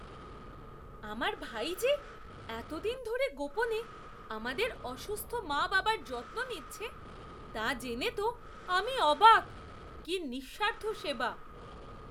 আমার ভাই যে এতদিন ধরে গোপনে আমাদের অসুস্থ মা বাবার যত্ন নিচ্ছে তা জেনে তো আমি অবাক! কি নিঃস্বার্থ সেবা!